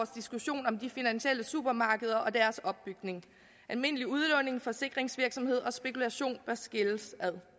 diskussion om de finansielle supermarkeder og deres opbygning almindeligt udlån forsikringsvirksomhed og spekulation bør skilles ad